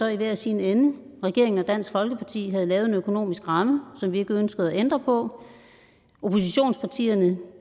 i hver sin ende regeringen og dansk folkeparti havde lavet en økonomisk ramme som vi ikke ønskede at ændre på oppositionspartierne